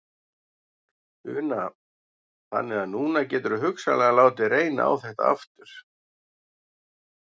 Una: Þannig að núna geturðu hugsanlega látið reyna á þetta aftur?